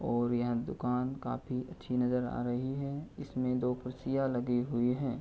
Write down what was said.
और यह दुकान काफी अच्छी नजर आ रही है इसमें दो कुर्सियां लगी हुई हैं।